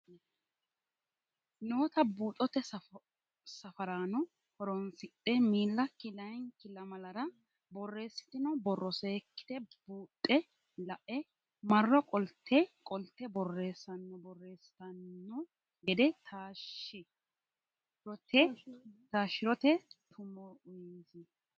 noota buuxote safaraano horonsidhe miili akki layinki lamalara borreessitino borro seekkite buuxxe la e marro qole qolte borreessanno borreessitanno gede taashshi rote tumo uyisi.